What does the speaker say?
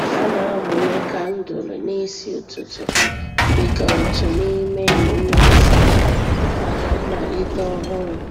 Ha na-amụnye kandụl n'isi ụtụtụ dịka otu n'ime emume nsacha maka mmalite ọhụrụ.